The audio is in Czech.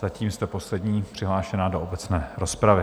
Zatím jste poslední přihlášená do obecné rozpravy.